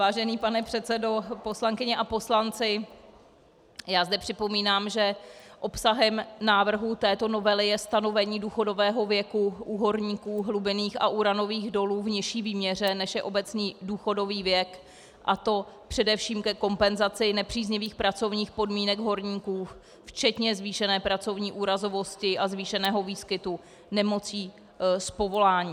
Vážený pane předsedo, poslankyně a poslanci, já zde připomínám, že obsahem návrhu této novely je stanovení důchodové věku u horníků hlubinných a uranových dolů v nižší výměře, než je obecný důchodový věk, a to především ke kompenzaci nepříznivých pracovních podmínek horníků, včetně zvýšené pracovní úrazovosti a zvýšeného výskytu nemocí z povolání.